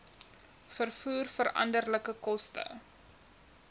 vervoer veranderlike koste